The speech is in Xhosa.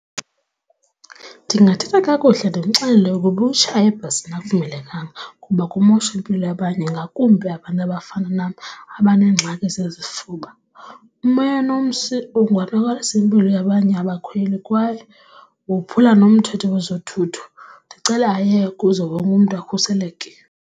Ndingathetha kakuhle ndimxelele ukuba ukutshaya ebhasini akuvumelekanga kuba kumosha impilo abanye ngakumbi abantu abafana nam abanengxaki zezifuba. Umoya nomsi ungonakalisa impilo yabanye abakhweli kwaye wophula nomthetho wezothutho, ndicele ayeke ukuze wonke mntu akhuseleke.